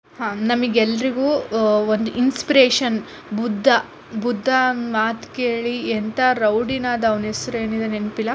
ಹಾ ನಮಗೆಲ್ಲರಿಗೂ ಒಂದು ಇನ್ಸ್ಪಿರೇಷನ್ ಬುದ್ಧ ಬುದ್ಧನ್ ಮಾತು ಕೇಳಿ ಎಂತನು ರೌಡಿ ಅದ ಅವನ ಹೆಸ್ರು ಏನಿದೆ ನೆನಪಿಲ್ಲಾ --